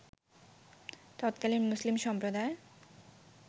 তৎকালীন মুসলিম সম্প্রদায়